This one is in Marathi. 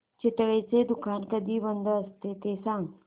चितळेंचं दुकान कधी बंद असतं ते सांग